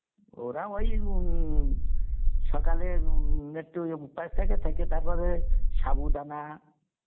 ওরা ওই উম, সকাল এ একটু উপাস থকে তারপরে সাবু দানা,